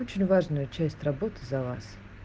очень важную часть работы за вас